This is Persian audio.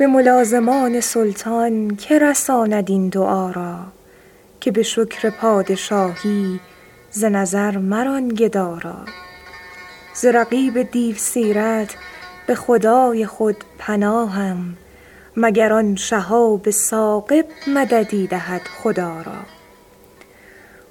به ملازمان سلطان که رساند این دعا را که به شکر پادشاهی ز نظر مران گدا را ز رقیب دیوسیرت به خدای خود پناهم مگر آن شهاب ثاقب مددی دهد خدا را